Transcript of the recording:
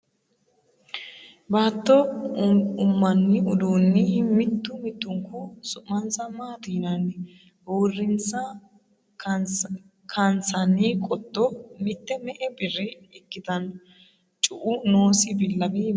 Batto ummanni uduunni mittu mittunku su'mansa maati yinanni ? Uurrinsa kansanni qotto mitte me"e Birr ikkitanno ? Cu''u noosi billawi me'e birraaati ?